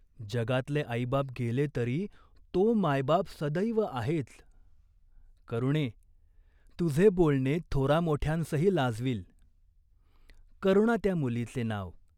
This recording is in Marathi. जगातले आईबाप गेले तरी तो मायबाप सदैव आहेच." "करुणे, तुझे बोलणे थोरामोठ्यांसही लाजवील." करुणा त्या मुलीचे नाव.